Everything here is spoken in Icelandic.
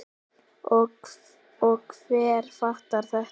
Og hver fattar þetta?